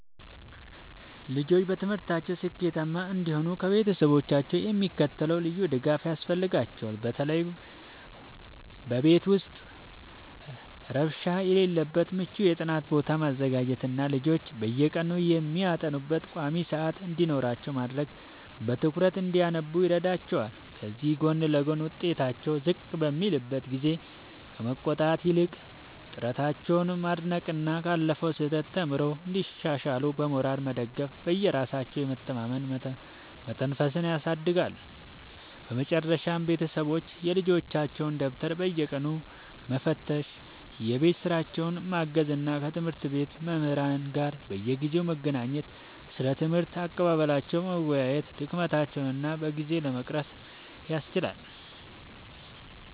ልጆች በትምህርታቸው ስኬታማ እንዲሆኑ ከቤተሰቦቻቸው የሚከተለው ልዩ ድጋፍ ያስፈልጋቸዋል፦ በቤት ውስጥ ረብሻ የሌለበት ምቹ የጥናት ቦታ ማዘጋጀትና ልጆች በየቀኑ የሚያጠኑበት ቋሚ ሰዓት እንዲኖራቸው ማድረግ በትኩረት እንዲያነቡ ይረዳቸዋል። ከዚህ ጎን ለጎን፣ ውጤታቸው ዝቅ በሚልበት ጊዜ ከመቆጣት ይልቅ ጥረታቸውን ማድነቅና ካለፈው ስህተት ተምረው እንዲሻሻሉ በሞራል መደገፍ በራሳቸው የመተማመን መንፈስን ያሳድጋል። በመጨረሻም ቤተሰቦች የልጆቻቸውን ደብተር በየቀኑ መፈተሽ፣ የቤት ሥራቸውን ማገዝ እና ከትምህርት ቤት መምህራን ጋር በየጊዜው በመገናኘት ስለ ትምህርት አቀባበላቸው መወያየት ድክመቶቻቸውን በጊዜ ለመቅረፍ ያስችላል።